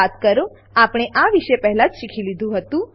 યાદ કરો આપણે આ વિશે પહેલા જ શીખી લીધું હતું